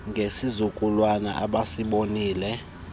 ngesilwanyana abesibonile ngepheezolo